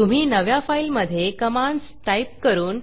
तुम्ही नव्या फाईलमधे कमांडस टाईप करून